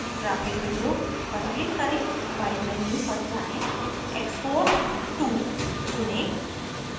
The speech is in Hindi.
ग्राफ़िक विंडोgraphic window पर क्लिक करें फाइल मेन्यूfile menu पर जाएँ एक्सपोर्ट टूexport to चुनें